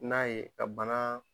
N'a ye ka bana